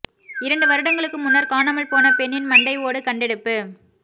இரண்டு வருடங்களுக்கு முன்னர் காணாமல் போன பெண்ணின் மண்டை ஓடு கண்டெடுப்பு